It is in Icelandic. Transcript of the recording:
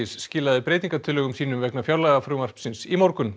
skilaði breytingartillögum vegna fjárlagafrumvarpsins í morgun